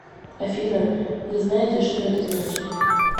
афина вы знаете что это значит